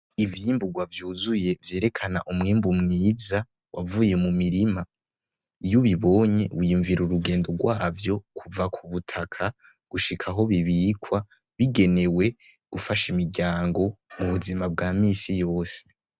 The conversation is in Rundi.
Ivyimburwa vyuzuye vyerekana umwimbu mwiza wavuye mumirima iyo ubibonye wiyumvira urugendo rwavyo kuva kubutaka gushika aho bibikwa bigenewe gufasha imiryango mubuzima bwa minsi yose